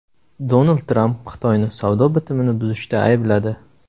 Donald Tramp Xitoyni savdo bitimini buzishda aybladi.